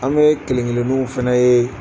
An bɛ kelen keleniw fɛnɛ ye.